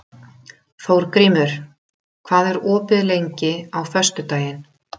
Þórgrímur, hvað er opið lengi á föstudaginn?